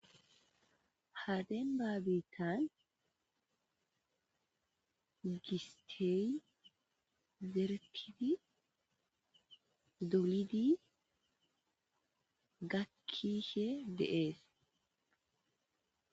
Ha demba bittan gistey zeretidi dolidi gakishe dees